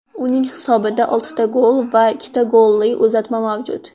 Uning hisobida oltita gol va ikkita golli uzatma mavjud.